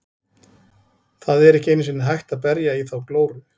Það er ekki einu sinni hægt að berja í þá glóru.